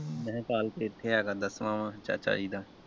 ਮੈਂ ਕਿਹਾ ਕੱਲ ਤੇ ਇੱਥੇ ਹੈਗਾ ਦੱਸਵਾਂ ਚਾਚਾ ਜੀ ਦਾ।